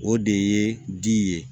O de ye di ye